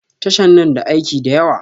Tashan na da aiki da yawa